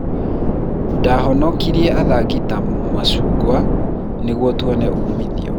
Ndahonokirie athaki ta macungwa nĩguo tuone umithio.